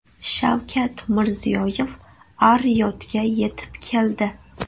Shavkat Mirziyoyev Ar-Riyodga yetib keldi.